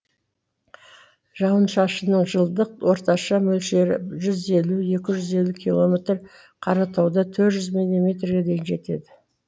жауын шашынның жылдық орташа мөлшері жүз елу екі жүз елу километр қаратауда төрт жүз милиметрге дейін жетеді